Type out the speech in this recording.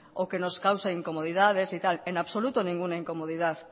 o que nos causa incomodidad en absoluto ninguna incomodidad